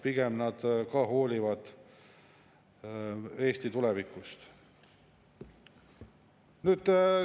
Pigem nad hoolivad Eesti tulevikust.